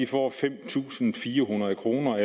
får fem tusind fire hundrede kroner